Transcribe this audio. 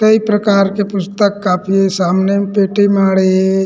कई प्रकार के पुस्तक कॉपी सामने म पेटी माढ़हे हे।